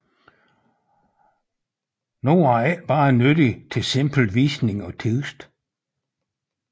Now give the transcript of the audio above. Nu var det ikke kun nyttigt til simpel visning af tekst